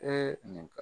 nin